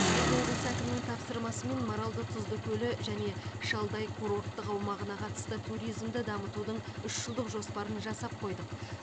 біз облыс әкімінің тапсырмасымен маралды тұзды көлі және шалдай курорттық аумағына қатысты туризмді дамытудың үш жылдық жоспарын жасап қойдық